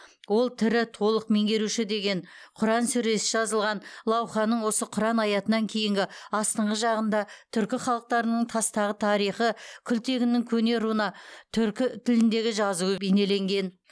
ол тірі толық меңгеруші деген құран сүресі жазылған лауханың осы құран аятынан кейінгі астыңғы жағында түркі халықтарының тастағы тарихы күлтегіннің көне руна түркі тіліндегі жазуы бейнеленген